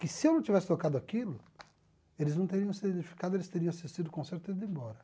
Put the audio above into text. Que se eu não tivesse tocado aquilo, eles não teriam se identificado, eles teriam assistido o concerto e ido embora.